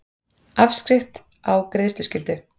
Afskrift á greiðsluskyldu.